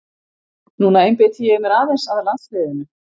Núna einbeiti ég mér aðeins að landsliðinu.